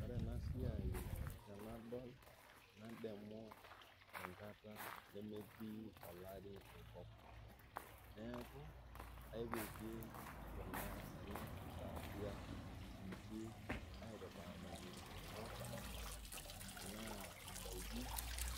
Ore ena siai tenadol nadamu enkata enmetii olari enkop, neaku epiki kuna ile saatia inchi aitataaniki impuka tanaa indaki